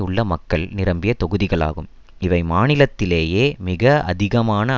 உள்ள மக்கள் நிரம்பிய தொகுதிகளாகும் இவை மாநிலத்திலேயே மிக அதிகமான